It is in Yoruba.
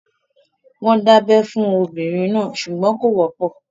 Wọ́n ń dábẹ́ fún obìnrin náà ṣùgbọ́n kò wọ́pọ̀.